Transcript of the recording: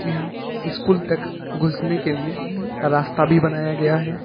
यहां स्कूल तक घुसने के लिए रास्ता भी बनाया गया है।